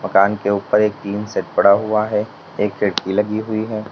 मकान के उपर एक टीन सेट पड़ा हुआ है एक खिड़की लगी हुई है।